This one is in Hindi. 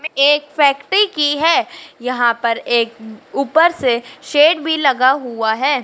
एक फैकटी की है। यहां पर एक ऊपर से शेड भी लगा हुआ है।